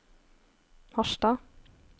Harstad